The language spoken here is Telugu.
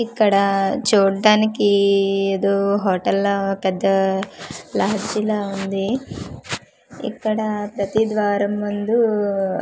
ఇక్కడా చూడ్డానికీ ఏదో హోటల్ లా పెద్ద లహచ్చి లా వుంది ఇక్కడ ప్రతి ద్వారం ముందూ అ--